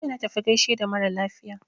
Jiya na tafi na gaishe da mara lafiya.